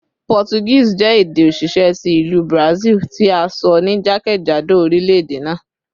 Portuguese jẹ ede osise ti Ilu Brazil, ti a sọ ni jakejado orilẹ-ede naa